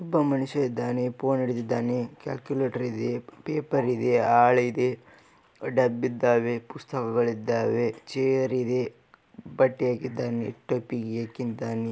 ಒಬ್ಬ ಮನುಷ್ಯ ಇದ್ದಾನೆ ಫೋನ್ ಹಿಡಿದಿದ್ದಾನೆ ಕಾಲಕ್ಯುಲಟರ್ ಇದೆ ಪೇಪರ್ ಇದೆ ಹಾಳೆ ಇದೆ ಡಬ್ ಇದ್ದಾವೆ ಪುಸ್ತಕಗಳಿದ್ದಾವೆ ಚೇರ್ ಇದೆ ಬಟ್ಟೆ ಹಾಕಿದ್ದಾನೆ ಟೊಪ್ಪಿ ಹಾಕಿದ್ದಾನೆ.